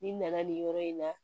Ni nana nin yɔrɔ in na